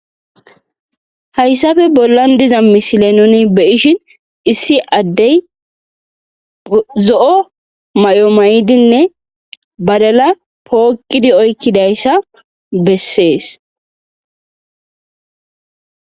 Hayssafe bollan diza misile nuni beyishin issi addey zo7o may'o maydinne badala pookkidi oykkidayssa bessees.